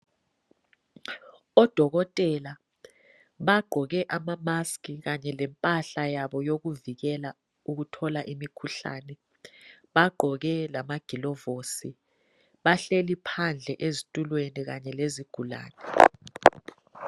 Odokotela bagqoke ama mask kanye lempahla yabo yokuvikela ukuthola imikhuhlane. Bagqoke lamagilovosi, bahleli phandle ezitulweni kanye lezigulane.